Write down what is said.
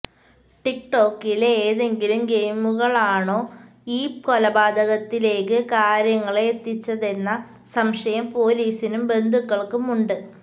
ടിക് ടോക്കിലെ ഏതെങ്കിലും ഗെയിമുകളാണോ ഈ കൊലപാതകത്തിലേക്ക് കാര്യങ്ങളെത്തിച്ചതെന്ന സംശയം പൊലീസിനും ബന്ധുക്കൾക്കും ഉണ്ട്